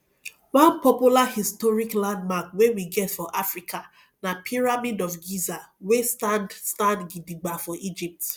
one popular historic landmark wey we get for africa na pyramid of giza wey stand stand gidigba for egypt